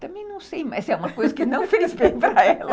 Também não sei, mas é uma coisa que não fez bem para ela.